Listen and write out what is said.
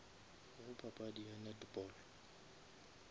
go papadi ya netball